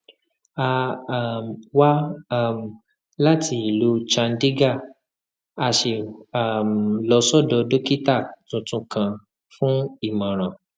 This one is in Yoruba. a um wá um láti ìlú chandigarh a sì um lọ sọdọ dókítà tuntun kan fún ìmọràn